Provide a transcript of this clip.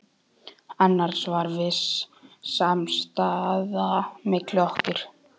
Annars var viss samstaða milli okkar